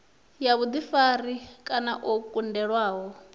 ya vhuḓifari kana o kundelwaho